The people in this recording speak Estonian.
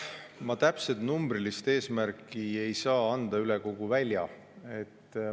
Ma täpset numbrilist eesmärki üle kogu välja ei saa anda.